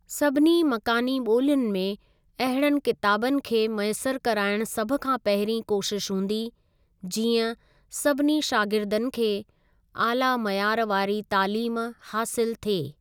सभिनी मकानी ॿोलियुनि में अहिड़नि किताबनि खे मयस्सर कराइण सभ खां पहिरीं कोशिश हूंदी, जीअं सभिनी शागिर्दनि खे आला मयार वारी तालीम हासिल थिए।